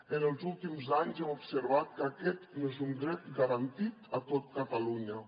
en els últims anys hem observat que aquest no és un dret garantit a tot catalunya